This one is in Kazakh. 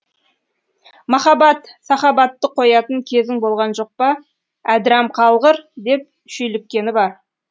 махаббат сахабатты коятын кезің болған жоқ па әдірам калғыр деп шүйліккені бар